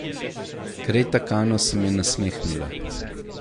Kreta Kano se mi je nasmehnila.